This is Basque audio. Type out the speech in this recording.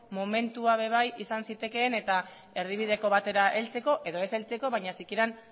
momentua ere bai izan zitekeen eta erdibideko batera heltzeko edo ez heltzeko baina sikiera